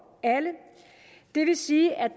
alle det vil sige at